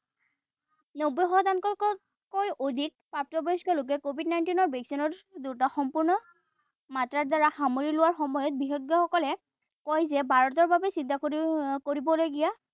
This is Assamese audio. নব্বৈ শতাংশতকৈও অধিক প্ৰাপ্তবয়স্ক লোকে COVID nineteen দুটা সম্পূৰ্ণ মাত্ৰাৰ দ্বাৰা সামৰি লোবা সময়ত বিশেষজ্ঞসকলে কয় যে ভাৰতৰ বাবে চিন্তা কৰিব কৰিবলগীয়া